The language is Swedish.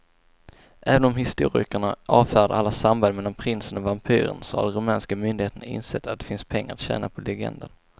Även om historikerna avfärdar alla samband mellan prinsen och vampyren så har de rumänska myndigheterna insett att det finns pengar att tjäna på legenden.